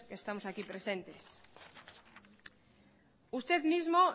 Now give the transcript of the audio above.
que estamos aquí presentes usted mismo